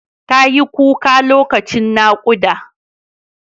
Tayi kuka lokacin naƙuda.